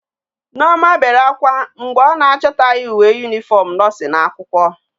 Nneoma bere akwa mgbe o na achotaghi uwe uniform nursing akwukwo